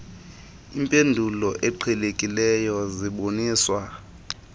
impendulo eqhelekileyo ziboniswa